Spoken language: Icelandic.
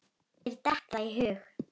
Mér datt það í hug!